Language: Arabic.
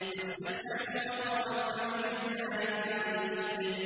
وَاسْتَفْتَحُوا وَخَابَ كُلُّ جَبَّارٍ عَنِيدٍ